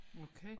Okay